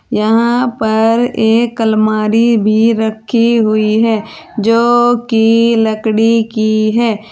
यहां पर एक अलमारी भी रखी हुई है जो की लकड़ी की है।